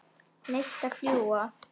Neistar fljúga.